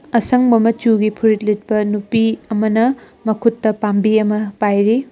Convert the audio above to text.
ꯑꯁꯪꯕ ꯃꯆꯨꯒꯤ ꯐꯨꯔꯤꯠ ꯂꯤꯠꯄ ꯅꯨꯄꯤ ꯑꯃꯅ ꯃꯈꯨꯠꯇ ꯄꯥꯝꯕꯤ ꯑꯃ ꯄꯥꯏꯔꯤ꯫